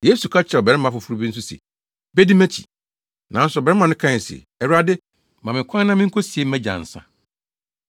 Yesu ka kyerɛɛ ɔbarima foforo bi nso se, “Bedi mʼakyi.” Nanso ɔbarima no kae se, “Awurade, ma me kwan na minkosie mʼagya ansa.”